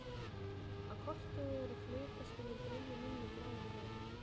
Á kortið eru flekaskilin dregin inn með bláum lit.